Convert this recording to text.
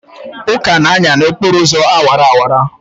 Uka na-anya n'okporo ụzọ awara awara?